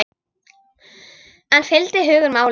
En fylgdi hugur máli?